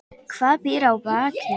Hvað býr að baki?